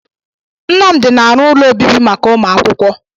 Nnamdi na-arụ ụlọ ọbibi màkà umuakwukwo.